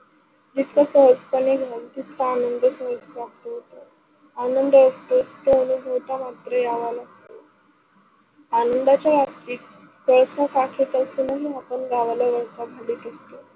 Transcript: सहज पणे घेऊ तितका आनंद सहज प्राप्त होतो आनंदाच्या बाबतीत असूनही आपण गावाला वळतो